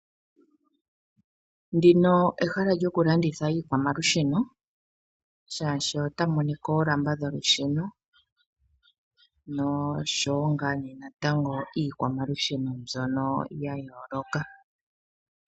Ndino ehala lyokulanditha iikwamalusheno shaashi otamu monika oolamba dholusheno noshowo iikwamalusheno mbyono yooloka